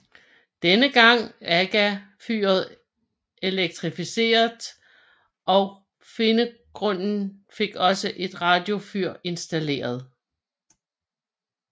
Denne gang AGA fyret elektrifiseret og Finngrundet fik også et radiofyr installeret